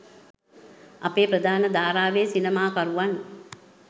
අපේ ප්‍රධාන ධාරාවේ සිනමාකරුවන්